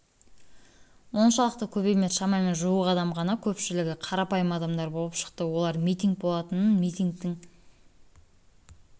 оншалықты көп емес шамамен жуық адам ғана көпшілігі қарапайым адамдар болып шықты олар митинг болатынын митингтің